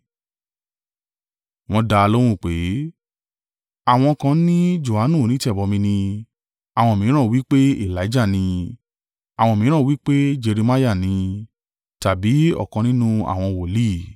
Wọ́n dá a lóhùn pé, “Àwọn kan ni Johanu onítẹ̀bọmi ni, àwọn mìíràn wí pé, Elijah ni, àwọn mìíràn wí pé, Jeremiah ni, tàbí ọ̀kan nínú àwọn wòlíì.”